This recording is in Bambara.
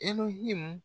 Ehi